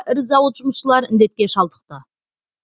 ірі зауыт жұмысшылары індетке шалдықты